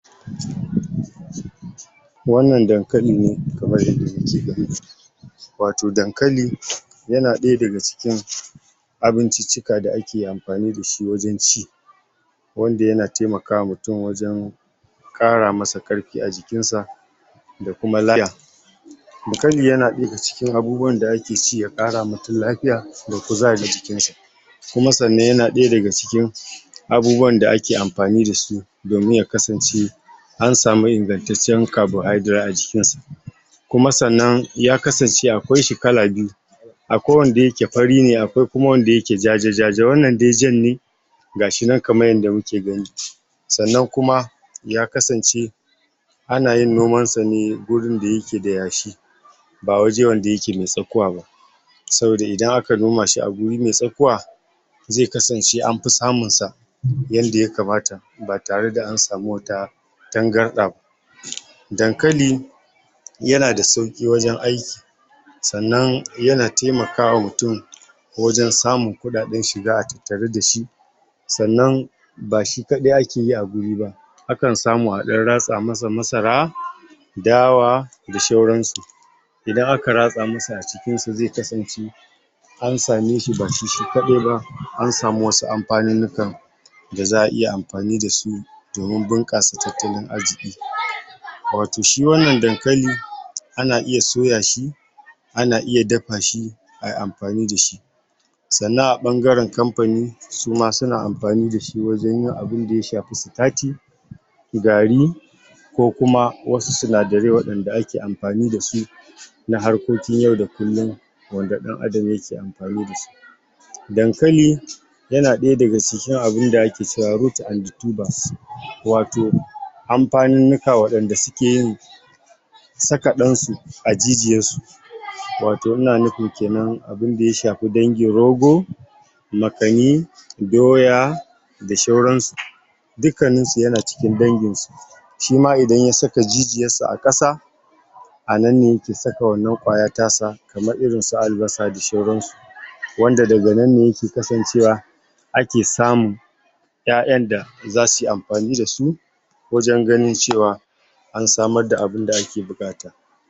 Wannan dankali ne kamar yadda kuke gani wato dankali yana ɗaya daga cikin abinciccika da ake amfani dashi wajen ci wanda yana taimakawa mutum wajen ƙara maƙiarfi a jikinsa da kuma lfy dankali yana ɗaya daga cikin abubuwan da ake ci ya ƙarawa mutum lafiya da kuzari jikinsa kuma sannan yanda ɗaya daga cikin abubuwan da ake mfani dasu domin ya kasace an samu ingattaciyyar kabohaidirate [carbohydrate] a cikinsa kuma sannan ya kasance akwaishi kala biyu akwai wanda yake fari ne akwai kuma wanda yake ja-ja, wannan dai jan ne gashi nan kamar yanda kake gani sannan kuma ya kasance anayin nomansa ne gurin da yake ds yashi ba waje wanda yake m3e tskuwa ba saboda idan aka nomashi a wuri mai tsakuwa zai kasance anfi samunsa yadda ya kamata ba tare da an sami wata tangarɗa dankali yana da sauki wajen aiki sannan yana taimakawa mutum wajen samun kuɗaɗen shiga a tattare dashi sannan ba shi kaɗai akeyi a wuri ba akan samu a ɗan ratsa masa masara dawa d\ sauransu idan aka ratsa musu a cikinsu ze kasance an sameshi ba shi.. shishi kadai ba an sami wasu amfaninnika da za'a iya amfani dasu domin bunƙasa tattalin arziki wato shi wannan dankali ana iya soya shi kana iya dafa shi, ayi amfani dashi sannan a ɓangaren kamfani suma suna amfani dashi wajen yin abin da ya shafi sitsti [starch] gari ko kuma wasu sinadarai waɗanda ake amfani dasu na harkokin yau da kullum wanda ɗan adam yake iya amfani dasu dankali yana ɗaya daga cikin a bin da ake cewa rut [root] and the tubers wato, amfaninnika waɗanda sukeyin saka ɗansu a jijiyarsu wato ina nufin kenan abin da ya shafi dangin rogo makani, doya, da sauransu dukkanninsu yana cikin dangn su shima idan ya saka jijiyarsa a ƙasa a nan ne yake saka wannan kwaya ta sa kamar irin su albasa da sauransu wanda daga nan ne yake kasancewa ake samun ƴaƴan da zasuyi amfani dasu ganin cewa an samar da abinda ake buƙata